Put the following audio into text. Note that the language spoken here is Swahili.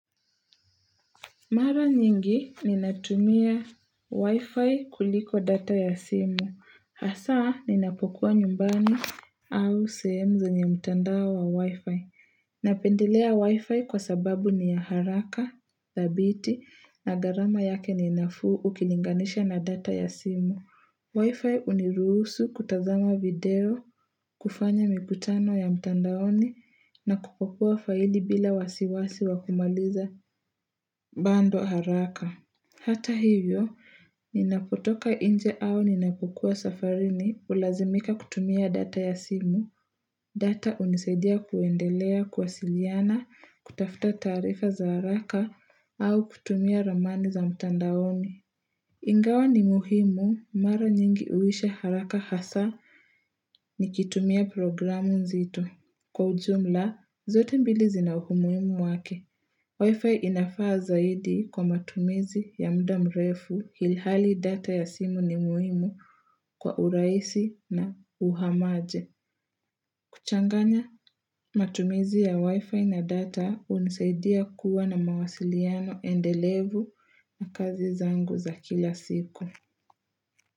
Mara nyingi ninatumia wi-fi kuliko data ya simu. Hasa ninapokuwa nyumbani au sehemu zenye mtandao wa wi-fi. Napendelea wi-fi kwa sababu ni ya haraka, thabiti na gharama yake ni nafuu ukilinganisha na data ya simu. Wi-Fi huniruhusu kutazama video, kufanya mikutano ya mtandaoni, na kupopua faidi bila wasiwasi wa kumaliza bundle haraka. Hata hivyo, ninapotoka nje au ninapokuwa safarini hulazimika kutumia data ya simu, data hunisaidia kuendelea, kuwasiliana, kutafta taarifa za haraka au kutumia ramani za mtandaoni. Ingawa ni muhimu mara nyingi huisha haraka hasa nikitumia programu nzito. Kwa ujumla, zote mbili zina umuhimu wake. Wi-Fi inafaa zaidi kwa matumizi ya muda mrefu ilhali data ya simu ni muhimu kwa urahisi na uhamaje. Kuchanganya matumizi ya Wi-Fi na data hunisaidia kuwa na mawasiliano endelevu na kazi zangu za kila siku.